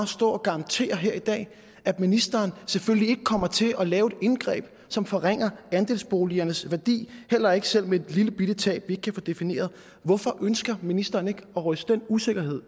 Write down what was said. stå og garantere her i dag at ministeren selvfølgelig ikke kommer til at lave et indgreb som forringer andelsboligernes værdi heller ikke selv med et lillebitte tab vi ikke kan få defineret hvorfor ønsker ministeren ikke at ryste den usikkerhed